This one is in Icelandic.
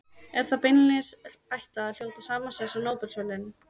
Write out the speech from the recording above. Er þeim beinlínis ætlað að hljóta sama sess og Nóbelsverðlaunin.